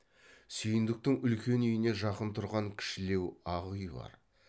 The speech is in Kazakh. сүйіндіктің үлкен үйіне жақын тұрған кішілеу ақ үй бар